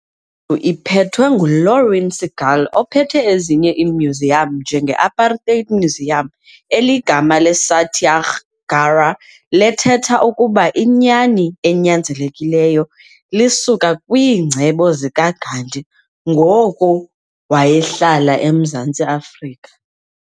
iphetwe nguLauren Segal ophethe ezinye iimuseum njengeApartheid Museum eligama leSatyagraha letheta ukuba inyani enyanzelekileyo lisuka kwingcebo zikaGandhi ngoko wayehlala eMzantsi Afrika.